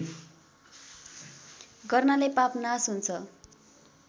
गर्नाले पाप नाश हुन्छ